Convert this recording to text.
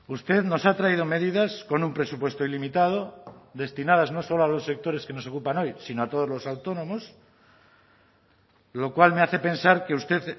usted nos ha traído medidas con un presupuesto ilimitado destinadas no solo a los sectores que nos ocupan hoy sino a todos los autónomos lo cual me hace pensar que usted